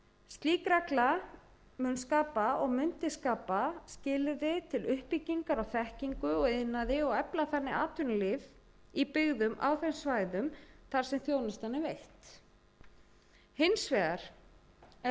slík regla mundi skapa skilyrði til uppbyggingar á þekkingu og iðnaði og efla þannig atvinnulíf í byggðum á þeim svæðum þar sem þjónustan yrði veitt hins vegar er